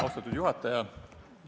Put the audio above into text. Austatud juhataja!